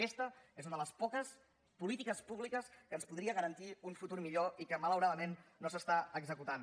aquesta és una de les poques polítiques públiques que ens podria garantir un futur millor i que malauradament no s’està executant